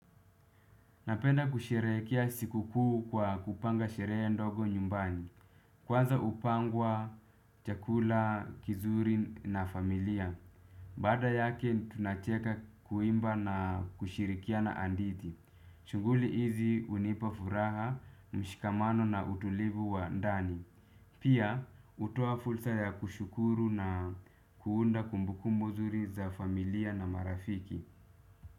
Napenda kusheherekea sikukuu kwa kupanga sherehe ndogo nyumbani. Kwanza upangwa, chakula, kizuri na familia. Baada yake tunacheka kuimba na kushirikina andithi. Shunghuli hizi unipa furaha, mshikamano na utulivu wa ndani. Pia utoa fursa ya kushukuru na kuunda kumbukumbu zuri za familia na marafiki.